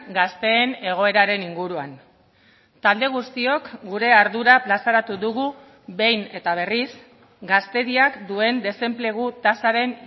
gazteen egoeraren inguruan talde guztiok gure ardura plazaratu dugu behin eta berriz gazteriak duen desenplegu tasaren